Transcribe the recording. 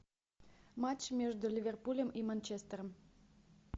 матч между ливерпулем и манчестером